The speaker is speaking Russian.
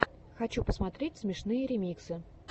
хочу посмотреть смешные ремиксы